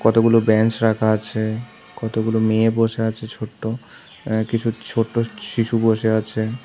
কতগুলো ব্যাঞ্চ রাখা আছে কতগুলো মেয়ে বসে আছে ছোট্ট এ্যা কিছু ছোট্ট শিশু বসে আছে।